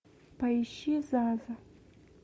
поищи заза